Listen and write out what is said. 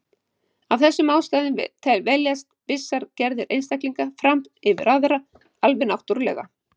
Af þessum ástæðum veljast vissar gerðir einstaklinga fram yfir aðrar, alveg náttúrulega.